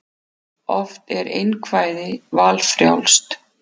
Oft er einkvæði valfrjálst.